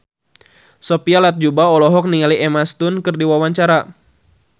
Sophia Latjuba olohok ningali Emma Stone keur diwawancara